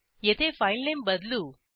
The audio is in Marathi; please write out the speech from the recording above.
येथे फाईलनेम बदलू